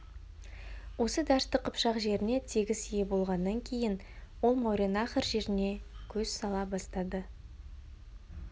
осы дәшті қыпшақ жеріне тегіс ие болғаннан кейін ол мауреннахр жеріне көз сала бастады